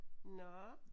Nåh